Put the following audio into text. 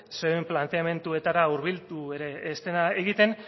zeuen planteamenduetara hurbildu ere ez dena egiten